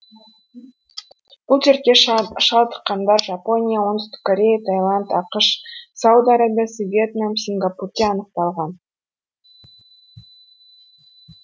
бұл дертке шалдыққандар жапония оңтүстік корея таиланд ақш сауд арабиясы вьетнам сингапурде анықталған